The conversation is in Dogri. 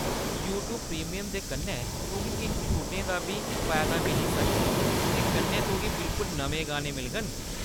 यूट्यूब प्रीमियम दे कन्नै, तुगी किश छूटें दा बी फायदा मिली सकदा ऐ, ते कन्नै तुगी बिल्कुल नमें गाने मिलङन।